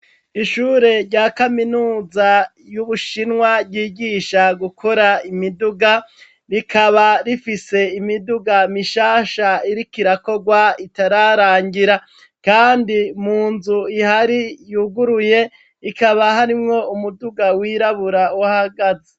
Ishure rya kaminuza y'ubuShinwa ryigisha gukora imiduga rikaba rifise imiduga mishasha iriko irakogwa itararangira kandi mu nzu ihari yuguruye ikaba harimwo umuduga w'irabura uhahagaze.